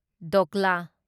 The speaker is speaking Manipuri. ꯙꯣꯀ꯭ꯂꯥ